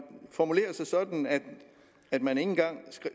formulerer sig sådan at man ikke engang